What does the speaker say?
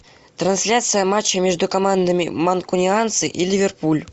трансляция матча между командами манкунианцы и ливерпуль